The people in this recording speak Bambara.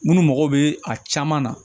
Minnu mago bɛ a caman na